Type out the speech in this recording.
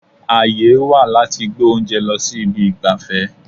Àyè wà láti gbé oúnjẹ lọ sí ibi ìgbafẹ́.